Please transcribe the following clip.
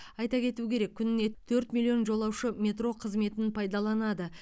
айта кету керек күніне төрт миллион жолаушы метро қызметін пайдаланады